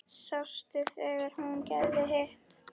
Sástu þegar hún gerði hitt?